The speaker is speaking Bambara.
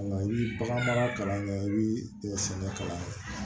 Nka i bi bagan mara kalan kɛ i bi dɛsɛ kalan kɛ